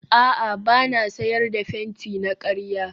a'a ba na sayar da fenti na karya